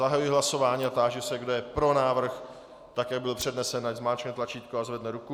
Zahajuji hlasování a táži se, kdo je pro návrh, tak jak byl přednesen, ať zmáčkne tlačítko a zvedne ruku.